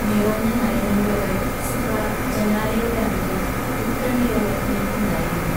നിറഞ്ഞ നയനങ്ങളോടെ സുഹ്റാ ജനാലയുടെ അടുത്ത് ഉത്കണ്ഠയോടെ നില്പ്പുണ്ടായിരുന്നു.